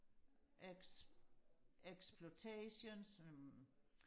eks eksplotations øhm